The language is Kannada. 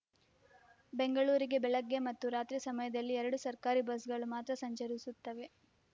ಬೆಂಗಳೂರಿಗೆ ಬೆಳಗ್ಗೆ ಮತ್ತು ರಾತ್ರಿ ಸಮಯದಲ್ಲಿ ಎರಡು ಸರ್ಕಾರಿ ಬಸ್‌ಗಳು ಮಾತ್ರ ಸಂಚರಿಸುತ್ತವೆ